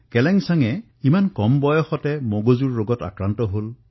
কেলেনসাং অতি কম বয়সতেই মগজুৰ গুৰুতৰ ৰোগত আক্ৰান্ত হৈছিল